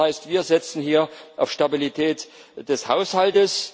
Das heißt, wir setzen hier auf Stabilität des Haushalts.